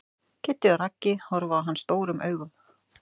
Kiddi og Raggi horfa á hann stórum augum.